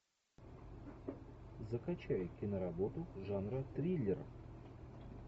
закачай киноработу жанра триллер